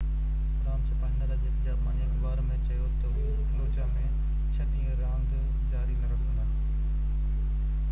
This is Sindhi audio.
راند ڇپائيندڙ اڄ هڪ جاپاني اخبار ۾ چيو تہ اهي فلوجاه ۾ ڇهہ ڏينهن راند جاري نہ رکندا